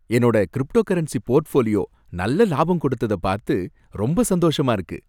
என்னோட cryptocurrency portfolio நல்ல லாபம் கொடுத்தத பார்த்து ரொம்ப சந்தோஷமா இருக்கு.